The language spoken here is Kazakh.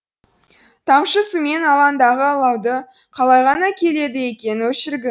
тамшы сумен алаңдағы алауды қалай ғана келеді екен өшіргің